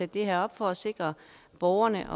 det her op for at sikre borgerne